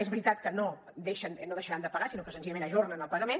és veritat que no deixaran de pagar sinó que senzillament ajornen el pagament